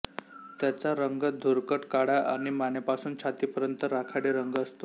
त्याचा रंग धुरकट काळा आणि मानेपासून छातीपर्यंत राखाडी रंग असतो